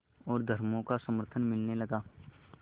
और धर्मों का समर्थन मिलने लगा